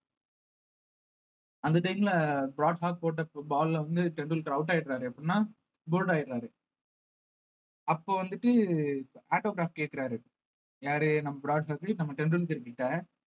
அந்த time ல Brad Hogg போட்ட ball ல வந்து டெண்டுல்கர் out ஆயிடுறாரு எப்படின்னா ஆயிடுறாரு அப்ப வந்துட்டு autograph கேட்கிறாரு யாரு நம்ம பிராட் ஹாக் நம்ம டெண்டுல்கர் கிட்ட